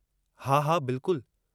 हा हा बिल्कुल।